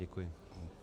Děkuju.